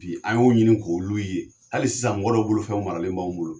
Bi an y'o ɲini k'olu ye , hali sisan mɔgɔ dɔw bolofɛnw maralen b'anw olo!